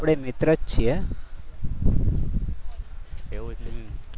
આપણે મિત્ર જ છીએ. એવું?